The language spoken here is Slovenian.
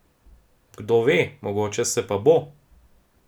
Kdo ve, mogoče se pa bo!